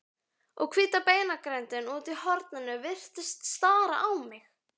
Og hvíta beinagrindin úti í horni virtist stara á mig.